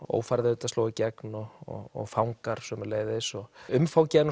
ófærð sló í gegn og fangar sömuleiðis umfangið er